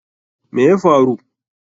Me ya faru?